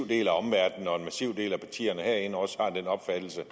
del af partierne herinde også har den opfattelse